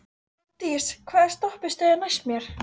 Magndís, hvaða stoppistöð er næst mér?